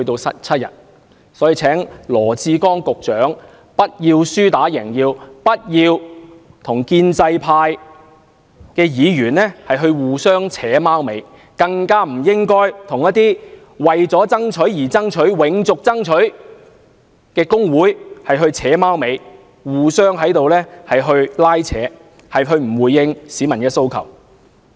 所以，我請羅致光局長不要輸打贏要，不要與建制派議員"互扯貓尾"、合謀蒙騙，更不應該與那些為爭取而爭取、要"永續爭取"的工會"扯貓尾"，互相拉扯，而不回應市民訴求。